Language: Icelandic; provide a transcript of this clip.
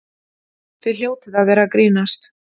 Þið hljótið að vera að grínast!